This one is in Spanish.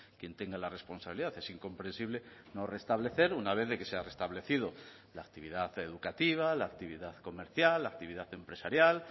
quien tenga la responsabilidad es incomprensible no restablecer una vez de que se ha restablecido la actividad educativa la actividad comercial la actividad empresarial